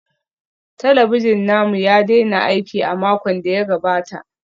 Talabijin namu ya daina aiki a makon da ya gabata